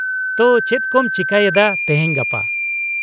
ᱛᱚ, ᱪᱮᱫ ᱠᱚᱢ ᱪᱤᱠᱟᱹᱭᱮᱫᱟ ᱛᱮᱦᱮᱧ ᱜᱟᱯᱟ?